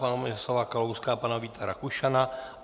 Pana Miroslava Kalouska a pana Víta Rakušana.